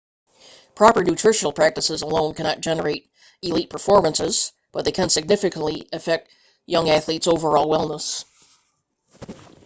proper nutritional practices alone cannot generate elite performances but they can significantly affect young athletes' overall wellness